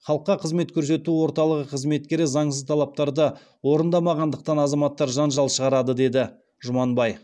халыққа қызмет көсету орталығы қызметкері заңсыз талаптарды орындамағандықтан азаматтар жанжал шығарады деді жұманбай